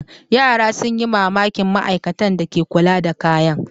Yara sun yi mamakin ma'aikatan da ke kula da kayan.